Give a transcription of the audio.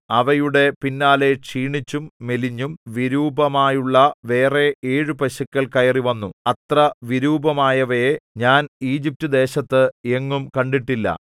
അവയുടെ പിന്നാലെ ക്ഷീണിച്ചും മെലിഞ്ഞും വളരെ വിരൂപമായുമുള്ള വേറെ ഏഴു പശുക്കൾ കയറി വന്നു അത്ര വിരൂപമായവയെ ഞാൻ ഈജിപ്റ്റുദേശത്ത് എങ്ങും കണ്ടിട്ടില്ല